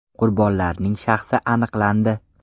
Qurbonlarning shaxsi aniqlandi.